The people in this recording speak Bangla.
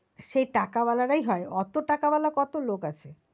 সেই টাকাওয়ালা রাই হয় অতো টাকা ওয়ালা কতো লোক আছে?